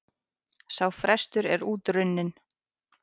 Sá frestur er út runninn.